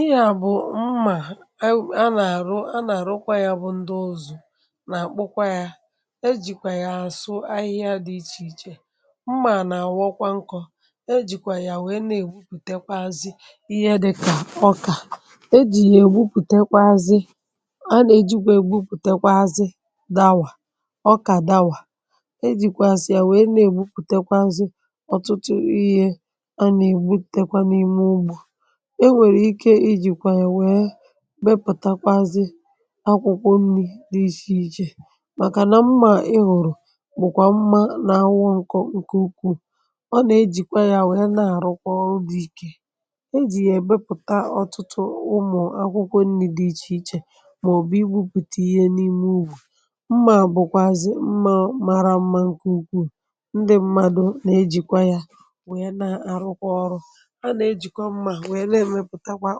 ihe à bụ̀ mmà a nà-àrụ a nà-àrụkwa yȧ bụ ndị ụzụ̇ nà-àkpụkwa yȧ e jìkwà yà asụ ahịhịa dị̇ ichè ichè mmà nà-àwọkwa nkọ e jìkwà yà wèe na-ègbupùtekwaazị ihe dịkà ọkà e jì yà ègbupùtekwaaazị a nà-ejikwa ègbupùtekwaaazị dàwà ọkà dàwà e jìkwàazị à wèe na-ègbupùtekwaaazị ọtụtụ ihe a nà-ègbupùtekwa n’ime ugbȯ enwèrè ike ijìkwà yà nwèe bepụ̀takwazị akwụkwọ nni̇ dị ichè ichè màkà nà mma ịhụ̀rụ̀ bụ̀kwà mma n’anwụ nkọ̇ nke ukwù ọ nà-ejìkwa yȧ nwèe na-àrụkwa ọrụ dị ike ejì yà èbepụ̀ta ọtụtụ ụmụ̀ akwụkwọ nni̇ dị ichè ichè màọ̀bụ̀ igwupùtì ihe n’ime ubù mma bụ̀kwàzị̀ mma mara mma nkè ukwù ndị mmadu nà-ejìkwa yȧ nwèe na-àrụkwa ọrụ a na ejikwa mma na emeputakwa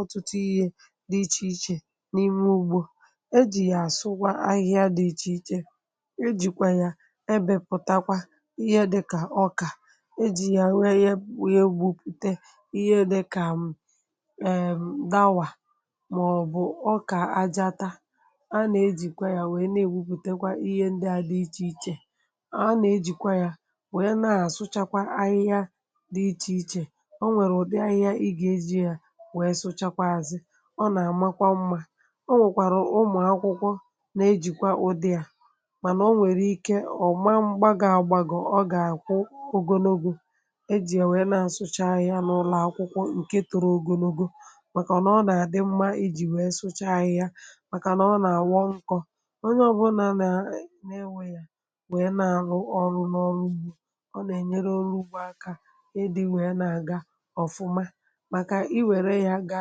otutu ihe dị ichèichè n’ime ugbȯ ejì yà àsụkwà ahịhịa dị ichèichè e jìkwà yà ebėpụtakwa ihe dịkà ọkà ejì yà wee ya wee gwupùte ihe dịkà um dawa màọbụ̀ ọkà ajata a nà-ejìkwa yȧ wee na-ewepùtekwa ihe ndị à dị ichèichè a nà-ejìkwa yȧ wee na-asụchakwa ahịhịa dị ichèichè onwe udi ahihia iga eji ya wee suchazi ọ nà-àmakwa mmȧ o nwèkwàrà ụmụ̀ akwụkwọ na-ejìkwa ụdị à mànà o nwèrè ike ọ̀ma mgbago àgbàgọ̀ ọ gà-àkwụ ogonogu ejì è wèe na-àsụcha ahi̇ anụ̀ụlọ̀ akwụkwọ ǹke tọrọ ogonogo màkà nà ọ nà-àdị mmȧ ejì wèe sụcha ahi̇ a màkà nà ọ nà-àwọ nkọ̇ onye ọ̀bụlà naa na-enwe yȧ wèe na-àrụ ọrụ̇ n’ọrụ ugbȯ ọ nà-ènyere orugbo akȧ ịdị̇ wèe na-àga ọ̀fụma maka iwere ya ga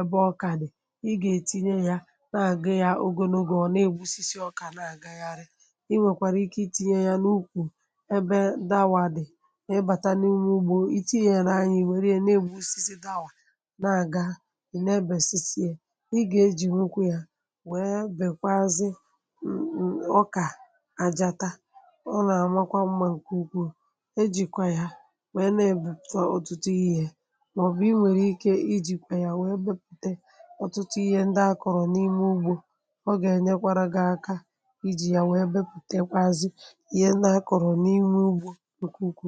ebe ọkà dị̀ ị gà-ètinye yȧ na-àgụ ya ogonogò ọ̀ na-ègbusisi ọkà na-àgàgharị i nwèkwàrà ike iti̇nye ya n’ukwù ebe dawà dị̀ ma ibàta n’imė ugbȯ ìtinye yȧra ya ị̀wèrè ya na-ègbusisi dawa na-àgà ị̀ na-ebèsisie ị gà-ejì nwukwu yȧ wee bèkwazị um ọkà àjàta ọ nà-àmakwa mmȧ ǹkè ukwuu e jìkwa ya wee na-èbù ọ̀tụtụ ihe maobu inwere ike ijikwa ya wee gbupute ọtụtụ ihe ndị akọrọ n’ime ugbo ọ ga-enyekwara ga-aka iji ya wee bepute kwazi ihe n’akọrọ n’ime ugbo nke ukwuu.